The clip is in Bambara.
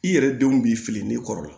I yɛrɛ denw b'i fili ne kɔrɔ la